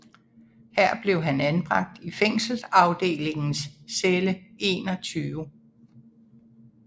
Her blev han anbragt i fængselsafdelingens celle 21